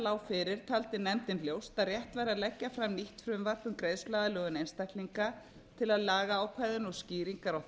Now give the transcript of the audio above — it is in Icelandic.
lá fyrir taldi nefndin ljóst að rétt væri að leggja fram nýtt frumvarp um greiðsluaðlögun einstaklinga til að lagaákvæðin og skýringar á